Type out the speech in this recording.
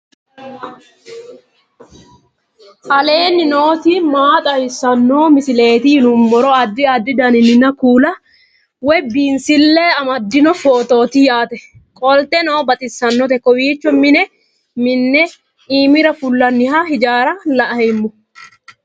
aleenni nooti maa xawisanno misileeti yinummoro addi addi dananna kuula woy biinsille amaddino footooti yaate qoltenno baxissannote kowiicho mine minne iimira fulloha hijaara laoommo